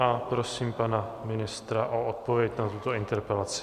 A prosím pana ministra o odpověď na tuto interpelaci.